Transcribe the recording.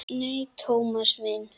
Nei, Thomas minn.